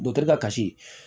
Dɔkitɛri ka kasi